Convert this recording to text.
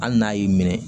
Hali n'a y'i minɛ